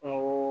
O